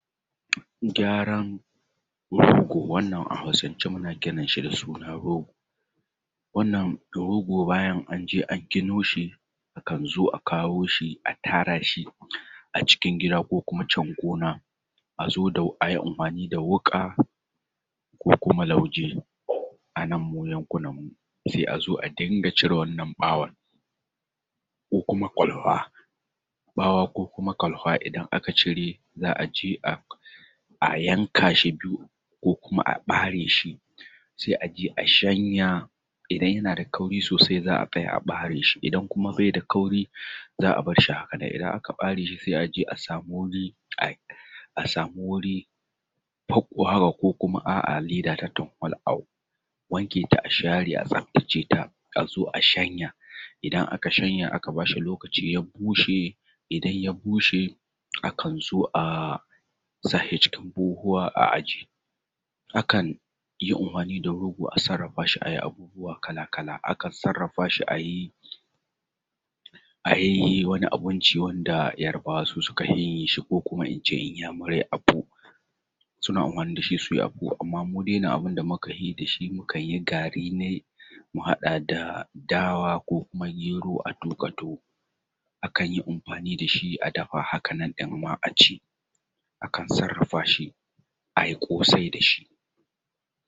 Gywaran rogo. Wannan a hausance muna kiran shi da suna rogo. Wannan rogo bayan anje a gino shi akan zo a kawo shi a tara shi a cikin gida ko kuma can gona azo ayi amfani da wuƙa ko kuma lauje anan mu yankunan mu sai azo a ringa cire wannan ɓawon ko kuma kwalfa ɓawa ko kuma ƙwalfa idan aka cire za’a je a yanka shi biyu ko kuma a ɓare shi sai a je a shanya idan yana da kauri sosai za’a kai a ɓare shi idan kuma baida kauri za’a barshi hakanan idan aka ɓare shi sai a je a samu wuri paggo haka ko kuma a’a leda ta tampol a wanke ta a share a tsaftace ta a zo a shanya idan aka shanya aka bashi lokaci ya bushe idan ya bushe akan zo a sashi cikin buhuhuwa a aje. Akan yi amfani da rogo a sarrafa shi ayi abubuwa kala kala, akan sarrafashi ayi wani abinci wanda yarabawa su sukafi yin shi ko kuma ince inyamurai apu suna amfani dashi suyi apu amma mudai nan abunda mukafi dashi mukanyi gari nai mu haɗa da dawa ko kuma gero a tuƙa tuwo akanyi amfani dashi a dafa hakanan ɗin ma a ci akan sarrafa shi a ƙosai dashi.